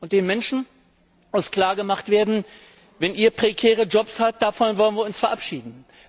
Den Menschen muss klargemacht werden Wenn ihr prekäre Jobs habt davon wollen wir uns verabschieden!